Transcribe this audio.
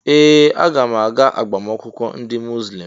Ee! Aga m aga agbamakwụkwọ ndị Muzlem.